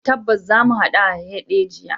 Tabbas, zamu hadu a Hadejiya.